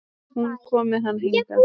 Hún kom með hann hingað.